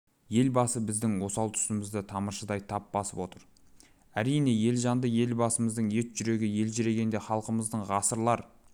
елбасы біздің осал тұсымызды тамыршыдай тап басып отыр әрине елжанды елбасымыздың ет жүрегі елжірегенде халқымыздың ғасырлар